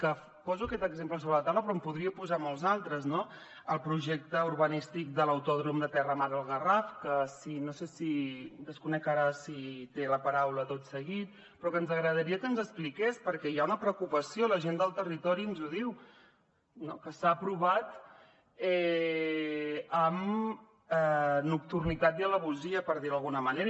que poso aquest exemple sobre la taula però en podria posar molts d’altres no el projecte urbanístic de l’autòdrom terramar al garraf que desconec ara si té la paraula tot seguit però que ens agradaria que ens expliqués perquè hi ha una preocupació la gent del territori ens ho diu que s’ha aprovat amb nocturnitat i traïdoria per dir ho d’alguna manera